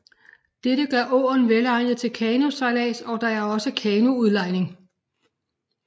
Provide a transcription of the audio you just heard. Dette gør åen velegnet til kanosejlads og der er også kanoudlejning